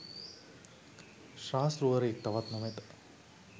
ශාස්තෘවරයෙක් තවත් නොමැත.